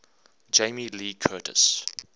jamie lee curtis